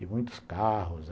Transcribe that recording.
E muitos carros.